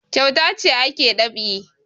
Kyauta ce ake dab'i